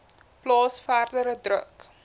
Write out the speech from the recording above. plaas verdere druk